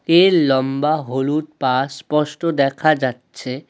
এর লম্বা হলুদ পা স্পষ্ট দেখা যাচ্ছে।